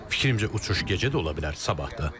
Fikrimcə, uçuş gecə də ola bilər, sabah da.